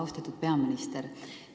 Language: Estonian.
Austatud peaminister!